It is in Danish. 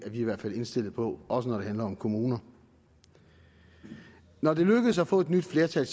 i hvert fald indstillet på også når det handler om kommuner når det er lykkedes at få et nyt flertal